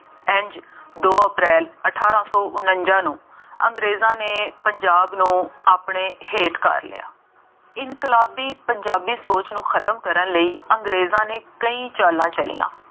ਇੰਝ ਦੋ ਅਪਰੈਲ ਅਠਾਰਾਂ ਸੌਂ ਉਨੰਜ਼ਾ ਨੂੰ ਅੰਗਰੇਜ਼ਾਂ ਨੇ ਪੰਜਾਬ ਨੂੰ ਆਪਣੇ ਹੇਠ ਕਰ ਲਿਆ। ਇਨਕਲਾਬੀ ਪੰਜਾਬੀ ਸੋਚ ਨੂੰ ਖਤਮ ਕਰਨ ਲਈ ਅੰਗਰੇਜ਼ਾਂ ਨੇ ਕਈ ਚਾਲਾਂ ਚੱਲੀਆਂ ।